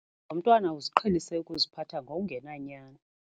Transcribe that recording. Lo mntwana uziqhelise ukuziphatha ngokungenanyani.